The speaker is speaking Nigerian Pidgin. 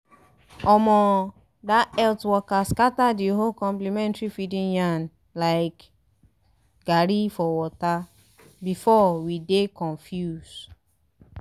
omo! that health worker scatter the whole complementary feeding yarn like garri for water! before we dey confuse